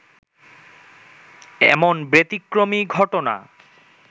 এমন ব্যতিক্রমী ঘটনা